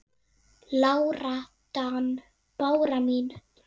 Lára Dan. Bára mín.